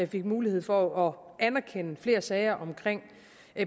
fik mulighed for at anerkende flere sager omkring